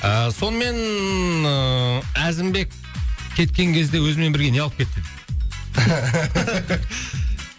ы сонымен ыыы әзімбек кеткен кезде өзімен бірге не алып кетті